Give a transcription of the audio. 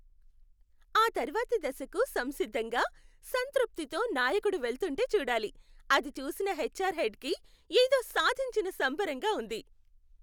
ఆతర్వాతి దశకు సంసిద్ధంగా, సంతృప్తితో నాయకుడు వెళ్తుంటే చూడాలి, అది చూసిన హెచ్ఆర్ హెడ్ కి ఏదో సాధించిన సంబరంగా ఉంది.